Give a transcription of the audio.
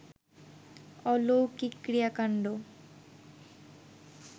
অলৌকিক ক্রিয়াকান্ড